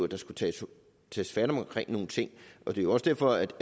der skulle tages fat om nogle ting og det er også derfor